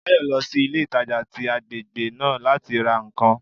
Báyò lọ sí ilé ìtajà tí agbègbè náà láti ra ǹkan